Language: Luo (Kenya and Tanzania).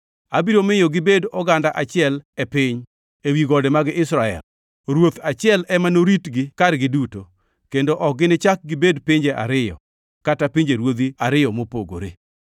Abiro miyo gibed oganda achiel e piny, ewi gode mag Israel. Ruoth achiel ema noritgi kargi duto, kendo ok ginichak gibed pinje ariyo, kata pinjeruodhi ariyo mopogore.